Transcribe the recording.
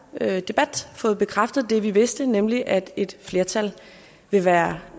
her debat har fået bekræftet det vi vidste nemlig at et flertal vil være